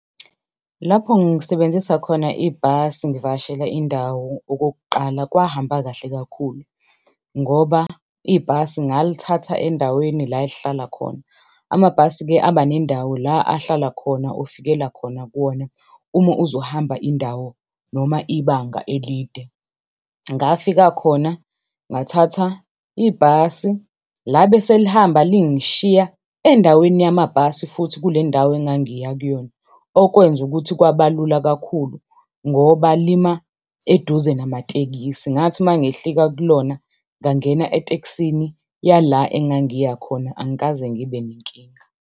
Lapho ngisebenzisa khona ibhasi ngivakashela indawo okokuqala kwahamba kahle kakhulu ngoba ibhasi ngalithatha endaweni ehlala khona. Amabhasi-ke aba nendawo la ahlala khona, ofikela khona kuwona uma uzohamba indawo noma ibanga elide. Ngafika khona ngathatha ibhasi labe selihamba lingishiya endaweni yamabhasi futhi kuleyo ndawo engangiya kuyona, okwenza ukuthi kwabalula kakhulu ngoba lima eduze namatekisi. Ngathi uma ngehlika kulona ngangena etekisini yala engangiya khona, angikaze ngibe nenkinga.